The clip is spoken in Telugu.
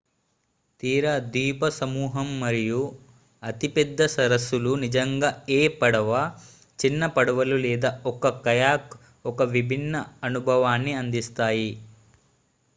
తీర ద్వీపసమూహం మరియు అతిపెద్ద సరస్సులు నిజంగా ఏ పడవ చిన్న పడవలు లేదా ఒక కయాక్ ఒక విభిన్న అనుభవాన్ని అందిస్తాయి